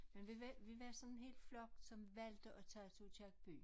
Men vi var vi var sådan en flok som valgte at tage til Aakirkeby